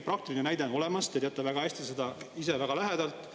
Praktiline näide on olemas, te teate seda ise väga hästi, väga lähedalt.